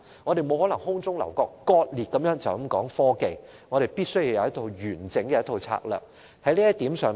我們不能空中樓閣或割裂地只談科技，我們必須有一套完整的策略。